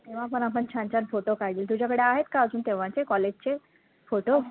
तेव्हा पण आपण छान छान photo काढले, तुझ्याकडे आहेत का अजून तेव्हाचे college चे photo